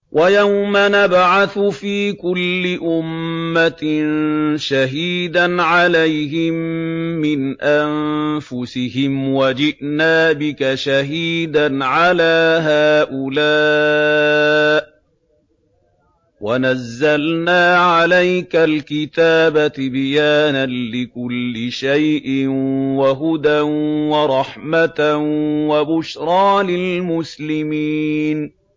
وَيَوْمَ نَبْعَثُ فِي كُلِّ أُمَّةٍ شَهِيدًا عَلَيْهِم مِّنْ أَنفُسِهِمْ ۖ وَجِئْنَا بِكَ شَهِيدًا عَلَىٰ هَٰؤُلَاءِ ۚ وَنَزَّلْنَا عَلَيْكَ الْكِتَابَ تِبْيَانًا لِّكُلِّ شَيْءٍ وَهُدًى وَرَحْمَةً وَبُشْرَىٰ لِلْمُسْلِمِينَ